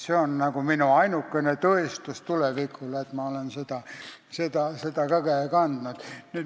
See on minu ainukene tõestus tulevikule, et ma olen seda tiitlit kandnud.